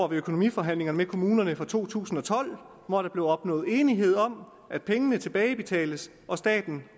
ved økonomiforhandlingerne med kommunerne for to tusind og tolv hvor der blev opnået enighed om at pengene tilbagebetales og staten